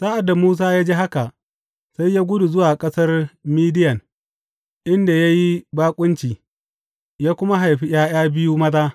Sa’ad da Musa ya ji haka, sai ya gudu zuwa ƙasar Midiyan, inda ya yi baƙunci, ya kuma haifi ’ya’ya biyu maza.